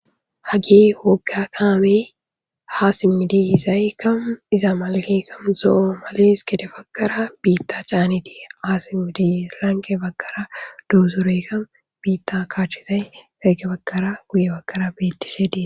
hagi wogga kaamey haasimmidiyizay kamu iza malaekkamu zo7o malis gede bagkara biitta caanitii haasimmidi lanqe baggara duuzureykka biitta kaachizay gagke bagkara guye bakara bettishe die